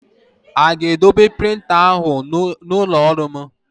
A ga-edobe printa ahụ n'ụlọ ọrụ m?